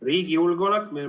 Riigi julgeolek.